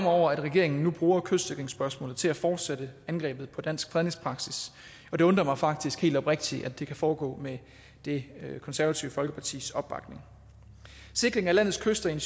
over at regeringen nu bruger kystsikringsspørgsmålet til at fortsætte angrebet på dansk fredningspraksis og det undrer mig faktisk helt oprigtigt at det kan foregå med det konservative folkepartis opbakning sikring af landets kyster i en